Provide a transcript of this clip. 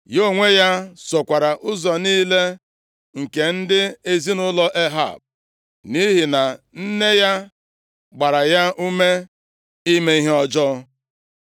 Ya onwe ya sokwara ụzọ niile nke ndị ezinaụlọ Ehab, nʼihi na nne ya gbara ya ume ime ajọ omume.